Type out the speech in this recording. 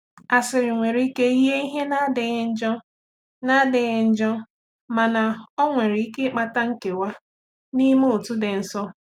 Asịrị nwere ike yie ihe na-adịghị njọ, na-adịghị njọ, mana ọ nwere ike ịkpata nkewa n’ime otu dị nso.